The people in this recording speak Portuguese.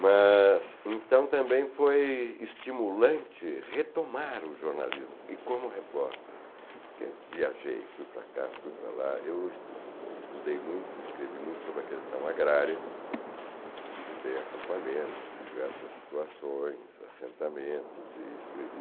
Mas, então, também foi estimulante retomar o jornalismo e como repórter, porque viajei, fui para cá, fui para lá, eu estu estudei muito, escrevi muito sobre a questão agrária, visitei acampamentos, vi diversas situações, assentamentos e escrevi